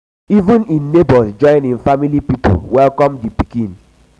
even im nebors join im family pipo welcome di new pikin.